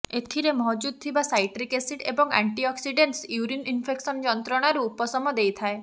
ଏଥିରେ ମହଜୁଦ୍ ଥିବା ସାଇଟ୍ରିକ୍ ଏସିଡ୍ ଏବଂ ଆଣ୍ଟିଅକ୍ସିଡେଣ୍ଟସ୍ ୟୁରିନ୍ ଇନ୍ଫେକ୍ସନ ଯନ୍ତ୍ରଣାରୁ ଉପଶମ ଦେଇଥାଏ